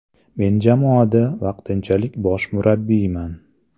Men jamoada vaqtinchalik bosh murabbiyman.